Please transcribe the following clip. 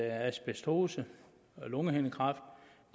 at asbestose og lungehindekræft